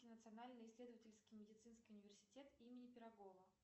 национальный исследовательский медицинский университет имени пирогова